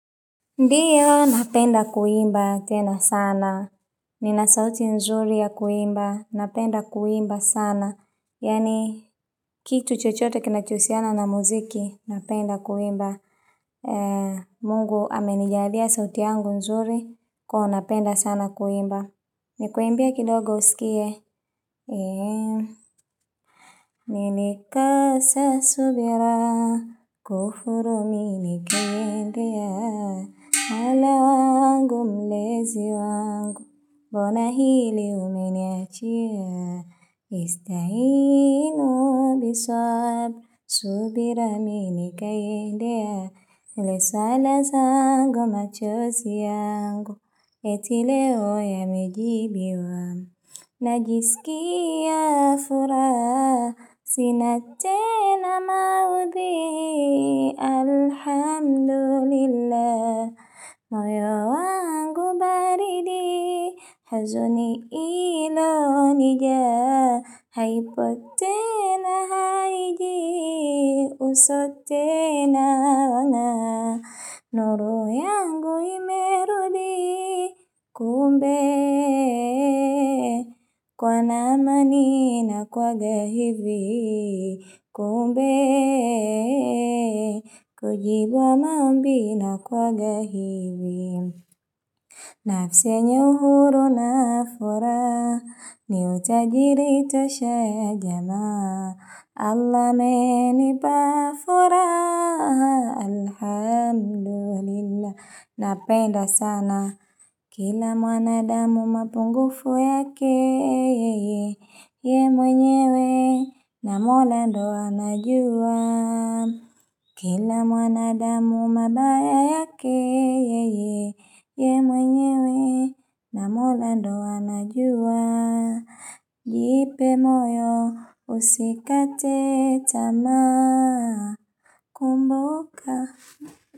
Ndiyo napenda kuimba tena sana, nina sauti nzuri ya kuimba, napenda kuimba sana, yaani kitu chochote kinachohusiana na muziki, napenda kuimba, mungu amenijalia sauti yangu nzuri, kwahiyo napenda sana kuimba, nikuimbie kidogo usikie. Nili kosa subira, kufuru mimi kuendea Allah wangu mlezi wangu, mbona hili umeniachia Istahinu biswab, subira mimi nikaiendea Leo sala zangu machozi yangu, eti loe yamejibiwa Najisikiaya furaha, sina tena maudhi, alhamdulillah. Moyo wangu baridi huzuni ina nijaa haipo tena haiji uso tena na. Nuru yangu imerudi kumbe, kuwa na amani inakuwaga hivi Kumbe, kujibiwa maombi inakuwaga hivi nafsi yenye uhuru na furaha ni utajiri tosha ya jana Allah amenipa furaha, alhamdulillah Napenda sana Kila mwanadamu mapungufu yake Yeye mwenyewe Namuona ndio anajua Kila mwanadamu mabaya yake ye mwenyewe na mwola ndo anajua Jipe moyo usikate tamaa kumbuka.